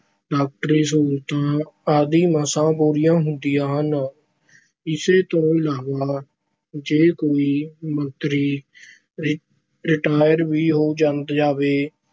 ਡਾਕਟਰੀ ਸਹੂਲਤਾਂ ਆਦਿ ਮਸਾਂ ਪੂਰੀਆਂ ਹੁੰਦੀਆਂ ਹਨ। ਇਸ ਤੋਂ ਇਲਾਵਾ ਜੇ ਕੋਈ ਮੰਤਰੀ ਰਿਟ ਰਿਟਾਇਰ ਵੀ ਹੋ ਜਾਂਦੇ ਜਾਵੇ